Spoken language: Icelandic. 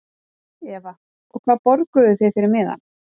Eva: Og hvað borguðuð þið fyrir miðann?